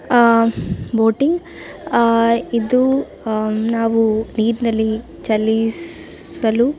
ಆಹ್ಹ್ boating ಇದು ನಾವು ನೀರಿನಲ್ಲಿ ಚಲಿಸಲು --